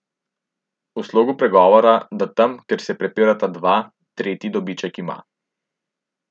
V slogu pregovora, da tam, kjer se prepirata dva, tretji dobiček ima.